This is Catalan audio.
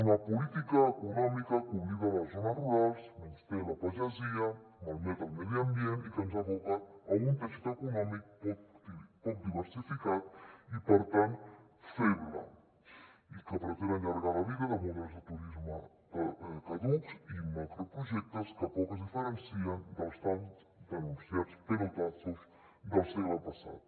una política econòmica que oblida les zones rurals menysté la pagesia malmet el medi ambient i que ens aboca a un teixit econòmic poc diversificat i per tant feble i que pretén allargar la vida de models de turisme caducs i macroprojectes que poc es diferencien dels tan denunciats pelotazos del segle passat